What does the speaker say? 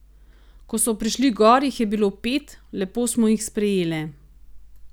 Ko so prišli gor, jih je bilo pet, lepo smo jih sprejele.